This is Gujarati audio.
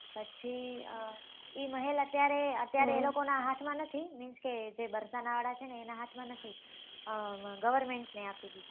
પછી એ મહેલ અત્યારે એ લોકો નાં હાથ માં નથી means કે જે વરસના વાળા છે એના હાથ માં નથી government ને આપી દીધું છે